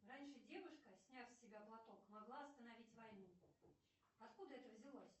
раньше девушка сняв с себя платок могла остановить войну откуда это взялось